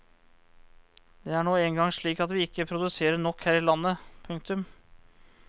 Det er nå engang slik at vi ikke produserer nok her i landet. punktum